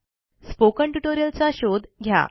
spoken tutorial चा शोध घ्या